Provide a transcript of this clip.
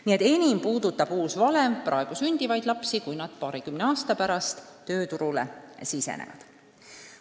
Nii et enim puudutab uus valem praegu sündivaid lapsi, kui nad paarikümne aasta pärast tööturule sisenevad.